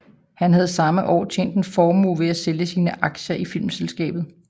Han havde samme år tjent en formue ved at sælge sine aktier i filmselskabet